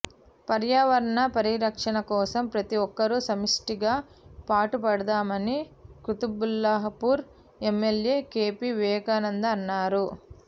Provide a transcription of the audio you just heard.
పర్యావరణ పరిరక్షణ కోసం ప్రతి ఒక్కరూ సమిష్టిగా పాటుపడదామని Quthbullapur MLA K P Vivekananda అన్నారు